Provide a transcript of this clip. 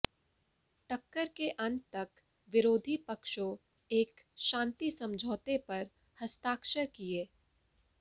टक्कर के अंत तक विरोधी पक्षों एक शांति समझौते पर हस्ताक्षर किए